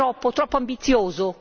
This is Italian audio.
È troppo, troppo ambizioso?